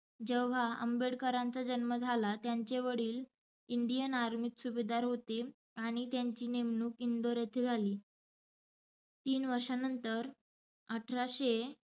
जेव्हा आंबेडकरांचा जन्म झाला, त्यांचे वडिल Indian army त सुभेदार होते आणि त्यांची नेमणुक इंदौर येथे झाली. तीन वर्षं नंतर अठराशे